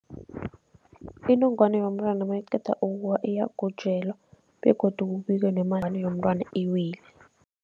Inongwana yomntwana mayiqeda ukuwa iyagujelwa begodu kubikwe inongwana yomntwana iwile.